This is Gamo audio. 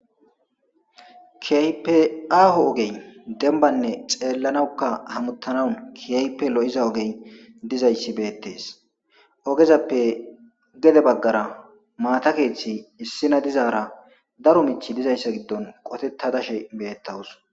Keehippe demba oggey xellanaw ne hamutanaw keehippe lo'iza ogey dizaysi beetes. Ogezappe gede bagara maata karethi dizayta daro mithi dizaysa gidon qoteta dashe beetawus.